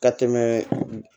Ka tɛmɛ